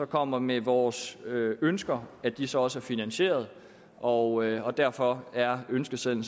kommer med vores ønsker at de så også er finansierede og derfor er ønskesedlen